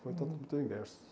Foi totalmente o inverso.